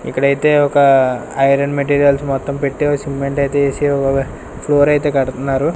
ఇక్కడైతే ఒక iron materials మొత్తం పెట్టేవ్ సిమెంట్ అయితే ఏసి ఒగ ఫ్లోర్ ఐతే కడతన్నారు.